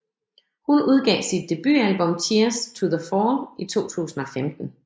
Hun udgav sit debutalbum Cheers to the fall i 2015